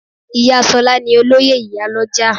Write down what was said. Iya Sola ni Olóyè Iyaloja